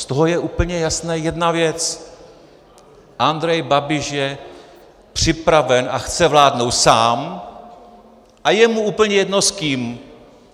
Z toho je úplně jasná jedna věc: Andrej Babiš je připraven a chce vládnout sám a je mu úplně jedno s kým.